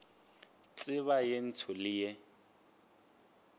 tseba ye ntsho le ye